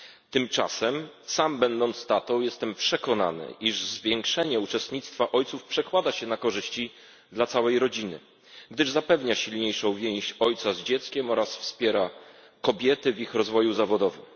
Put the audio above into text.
Tymczasem sam będąc tatą, jestem przekonany, iż zwiększenie uczestnictwa ojców przekłada się na korzyści dla całej rodziny, gdyż zapewnia silniejszą więź ojca z dzieckiem oraz wspiera kobiety w ich rozwoju zawodowym.